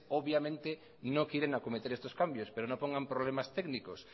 obviamente no quieren acometer estos cambios pero no pongan problemas técnicos